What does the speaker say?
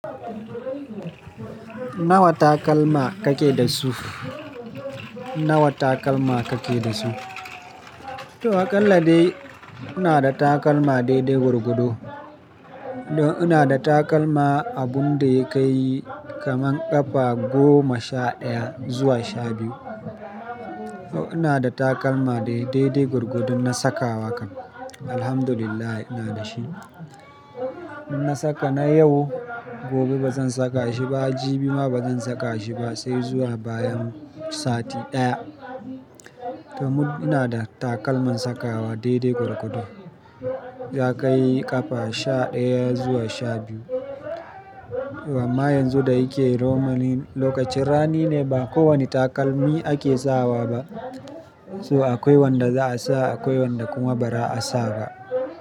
Nawa takalma kake da su? Nawa takalma kake da su? To a ƙalla dai ina da takalma daidai gurgudo. Don ina da takalma abun da ya kai kamar ƙafa goma sha ɗaya zuwa sha biyu. To ina da takalma dai daidai gurgudo na sakawa kam. Alhamdulillah ina da shi. In na saka na yau, gobe ba zan saka shi ba, jibi ma ba zan saka shi ba sai zuwa bayan sati ɗaya. Domin ina da takalman sakawa daidai gurgudo. Za kai ƙafa sha ɗaya zuwa sha biyu. Amma yanzu da yake roaming lokacin rani ne ba kowane takalmi ake sawa ba. So akwai wanda za a sa akwai wanda kuma ba za a sa ba.